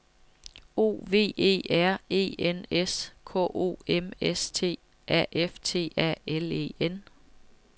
O V E R E N S K O M S T A F T A L E N